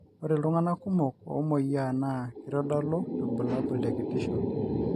ore iltunganak kumok omoyia naa keitadolu irbulabul te kitisho